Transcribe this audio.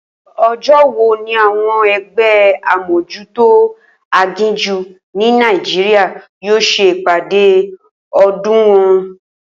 O̩jó̩ wo ni àwo̩n e̩gbé̩ amójútó aginjù ní Nàìjíríà yóò s̩e ìpàdé o̩do̩o̩dún wo̩n?